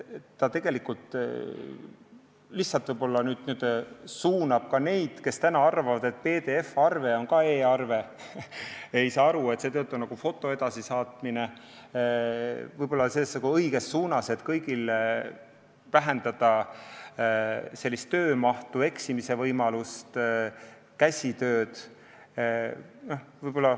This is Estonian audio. Praegu lihtsalt võib-olla n-ö suunatakse neid, kes arvavad, et PDF-arve on ka e-arve, kes ei saa aru, et see töötab nagu foto edasisaatmine, õiges suunas, et vähendada kõigi töömahtu, eksimisvõimalust ja käsitsitööd.